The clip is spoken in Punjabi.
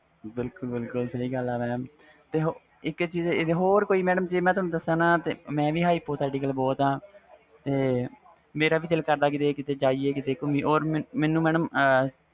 ਬਿਲਕੁਲ ਬਿਲਕੁਲ ਸਹੀ ਗੱਲ ਆ ਹੋਰ ਕੋਈ ਜੇ ਮੈਂ ਤੁਹਾਨੂੰ ਦਸਾ ਤਾ ਮੈਂ ਵੀ hypothetical ਬਹੁਤ ਵ ਮੇਰਾ ਵੀ ਦਿਲ ਕਰਦਾ ਕੀਤੇ ਜਾਈ ਕੀਤੇ ਗੁਮੀਏ or ਮੈਨੂੰ mam